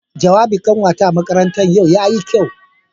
Jawabin kanwata a makaranta yau yayi kyau.